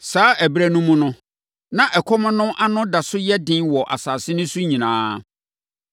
Saa ɛberɛ no mu no, na ɛkɔm no ano da so yɛ den wɔ asase no so nyinaa.